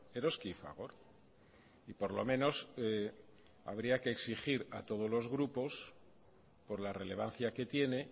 eroski y fagor y por lo menos habría que exigir a todos los grupos por la relevancia que tiene